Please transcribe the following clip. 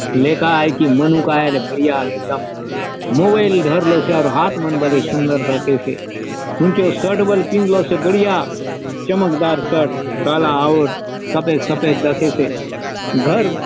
लेका आय की मनुक आय आले बढ़िया एक दम मोबाइल धरलोसे अउर हाथ मन बले सुंदर दखेसे हुनचो शर्ट बले पिदलोसे बढ़िया चमकदार शर्ट काला आउर सफेद - सफेद दखेसे घर --